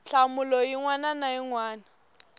nhlamulo yin wana na yin